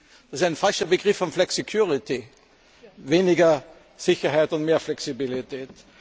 Das ist ein falscher Begriff von flexicurity weniger Sicherheit und mehr Flexibilität.